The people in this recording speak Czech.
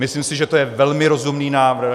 Myslím si, že to je velmi rozumný návrh.